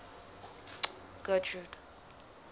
getrude